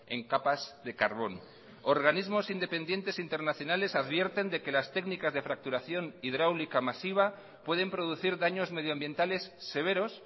en capas de carbón organismos independientes internacionales advierten de que las técnicas de fracturación hidráulica masiva pueden producir daños medioambientales severos